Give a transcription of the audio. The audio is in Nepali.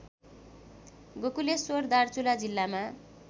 गोकुलेश्वर दार्चुला जिल्लामा